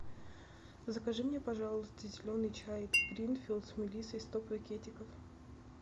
закажи мне пожалуйста зеленый чай гринфилд с мелиссой сто пакетиков